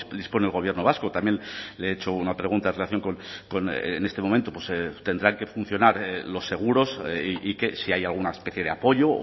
dispone el gobierno vasco también le he hecho una pregunta en relación con en este momento tendrán que funcionar los seguros y que si hay alguna especie de apoyo